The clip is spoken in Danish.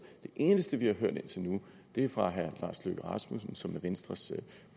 det eneste vi har hørt indtil nu er fra herre lars løkke rasmussen som er venstres